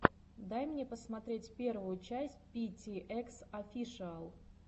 дай мне посмотреть первую часть пи ти экс офишиал